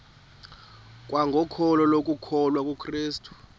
kwangokholo lokukholwa kukrestu